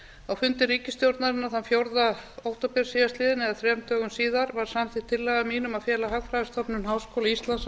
á fundi ríkisstjórnarinnar þann fjórða október síðastliðinn var samþykkt tillaga mín um að fela hagfræðistofnun háskóla íslands að